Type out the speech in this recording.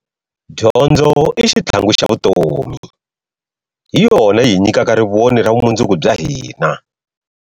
Dyondzo i xitlhangu xa vutomi, hi yona yihi nyikaka rivoni ra vumundzuku bya hina.